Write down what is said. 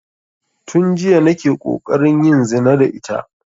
Tun jiya nake ƙoƙarin yin zina da ita